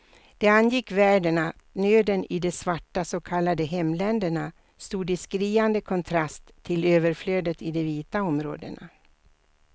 Det angick världen att nöden i de svarta så kallade hemländerna stod i skriande kontrast till överflödet i de vita områdena.